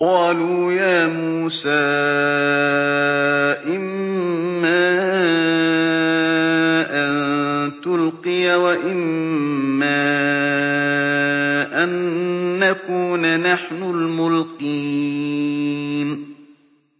قَالُوا يَا مُوسَىٰ إِمَّا أَن تُلْقِيَ وَإِمَّا أَن نَّكُونَ نَحْنُ الْمُلْقِينَ